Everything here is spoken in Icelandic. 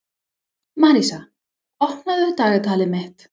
Marísa, opnaðu dagatalið mitt.